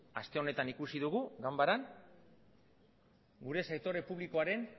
aste honetan ikusi dugu ganbaran gure sektore publikoaren